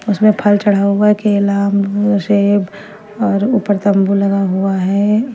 इसमें फल चढ़ा हुआ है केला अंगूर सेब और ऊपर तम्बू लगा हुआ है।